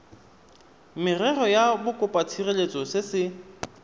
merero ya bokopatshireletso se se